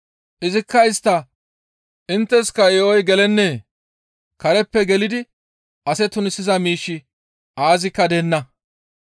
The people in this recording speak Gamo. Izikka istta, «Intteska yo7oy gelennee? Kareppe gelidi ase tunisiza miishshi aazikka deenna.